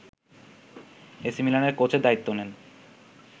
এসিমিলানের কোচের দায়িত্ব নেন